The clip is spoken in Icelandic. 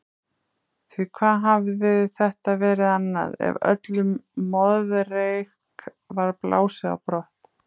Því hvað hafði þetta verið annað, ef öllum moðreyk var blásið á brott?